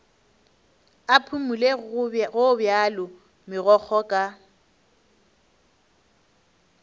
a phumole gobjalo megokgo ka